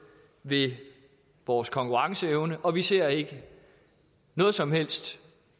ved vores konkurrenceevne og vi ser ikke noget som helst